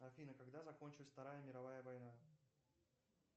афина когда закончилась вторая мировая война